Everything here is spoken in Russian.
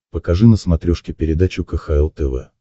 покажи на смотрешке передачу кхл тв